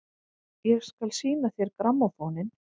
Ég skal sýna þér grammófóninn!